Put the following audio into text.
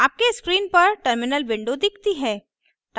आपके स्क्रीन पर terminal window दिखती है